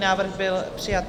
Návrh byl přijat.